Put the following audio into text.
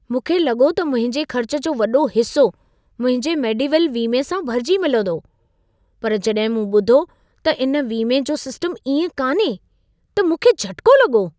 मूंखे लॻो त मुंहिंजे ख़र्च जो वॾो हिसो मुंहिंजे मेडिवेल वीमे सां भरिजी मिलंदो। पर जॾहिं मूं ॿुधो त इन वीमे जो सिस्टम इएं कान्हे, त मूंखे झटिको लॻो।